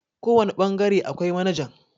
kawane bangare akwai manajan